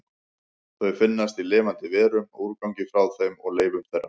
Þau finnast í lifandi verum, úrgangi frá þeim og leifum þeirra.